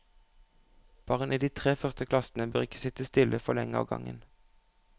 Barn i de tre første klassene bør ikke sitte stille for lenge av gangen.